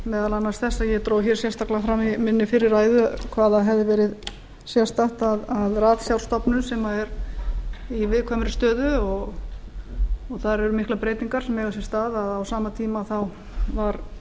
meðal annars þetta að ég dró sérstaklega fram í minni fyrri ræðu hvað það hefði verið sérstakt að ratsjárstofnun sem er í viðkvæmri stöðu og þar eru miklar breytingar sem eiga sér stað á sama tíma var forstjórinn